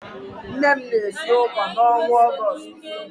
Nne m na-esi ụkwà n'ọnwa Ọgọọst.